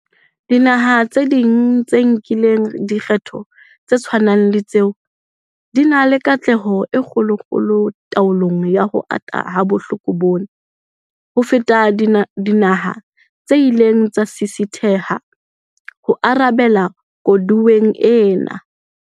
Dinaha tse ding tse nkileng dikgato tse tshwanang le tseo di na le katleho e kgolokgolo taolong ya ho ata ha bohloko bona, ho feta dinaha tse ileng tsa sisitheha ho arabela koduweng ena.